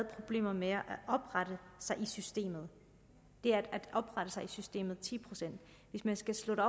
problemer med at oprette sig i systemet systemet hvis man skal sætte